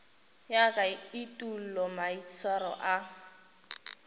ya ka etulo maitshwaro a